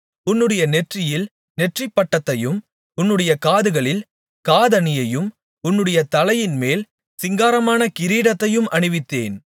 உன்னுடைய நெற்றியில் நெற்றிப்பட்டத்தையும் உன்னுடைய காதுகளில் காதணியையும் உன்னுடைய தலையின்மேல் சிங்காரமான கிரீடத்தையும் அணிவித்தேன்